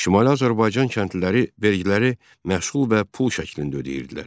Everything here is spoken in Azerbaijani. Şimali Azərbaycan kəndliləri vergiləri məhsul və pul şəklində ödəyirdilər.